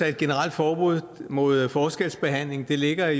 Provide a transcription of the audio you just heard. et generelt forbud mod forskelsbehandling ligger